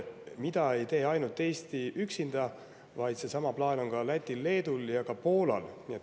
Seda ei tee ainult Eesti üksinda, seesama plaan on Lätil, Leedul ja ka Poolal.